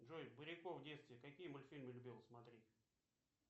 джой буряков в детстве какие мультфильмы любил смотреть